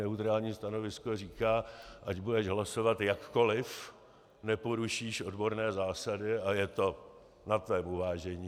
Neutrální stanovisko říká, ať budeš hlasovat jakkoliv, neporušíš odborné zásady a je to na tvém uvážení.